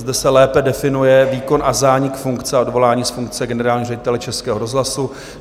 Zde se lépe definuje výkon a zánik funkce a odvolání z funkce generálního ředitele Českého rozhlasu.